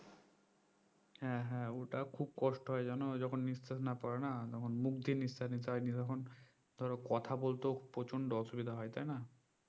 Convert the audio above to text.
হ্যা হ্যা ওটা খুব কষ্ট হয় জানো যখন নিঃশ্বাস না পরে না তখন মুখ দিয়ে নিঃশ্বাস নিতে হয় নিয়ে তখন ধরো কথা বলতেও প্রচন্দ অসুবিধা হয় তাইনা